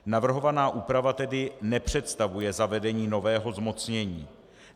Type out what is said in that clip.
Navrhovaná úprava tedy nepředstavuje zavedení nového zmocnění.